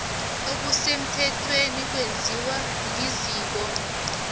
okusemthethweni kwenziwa liziko